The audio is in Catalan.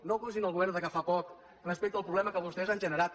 no acusin el govern que fa poc respecte al problema que vostès han generat